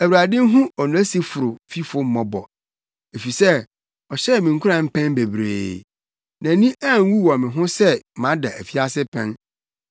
Awurade nhu Onesiforo fifo mmɔbɔ, efisɛ ɔhyɛɛ me nkuran mpɛn bebree. Nʼani anwu wɔ me ho sɛ mada afiase pɛn,